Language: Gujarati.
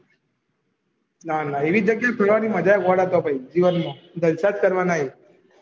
ન ના એવી જગહ ખુલવાની મજા ગોળા કાપી ગયી જીવન માં જલસા જ કરવાના